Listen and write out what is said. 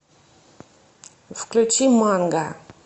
включи манга